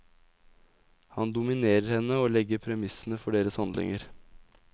Han dominerer henne og legger premissene for deres handlinger.